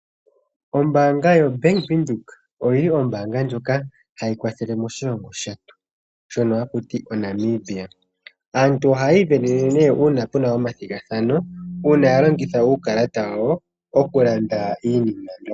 Ombanga ndjoka yoBank Windhoek oyili ombanga ndjoka hayi kwathelele moshilongo shetu shono hakutiwa Namibia. Aantu oha yi ivenene ne una pena omathigathano oku landa iinima mbyo.